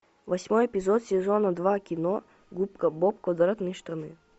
восьмой эпизод сезона два кино губка боб квадратные штаны